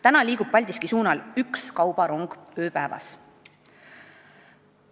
" Praegu liigub Paldiski suunal üks kaubarong ööpäevas.